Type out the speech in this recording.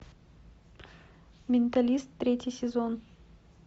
менталист третий сезон